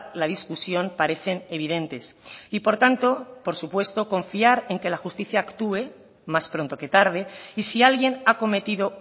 la discusión parecen evidentes y por tanto por supuesto confiar en que la justicia actúe más pronto que tarde y si alguien ha cometido